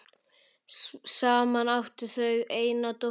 Saman áttu þau eina dóttur.